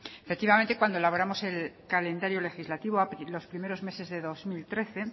efectivamente cuando elaboramos el calendario legislativo los primeros meses de dos mil trece